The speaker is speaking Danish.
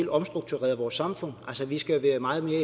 omstruktureret vores samfund altså vi skal have meget mere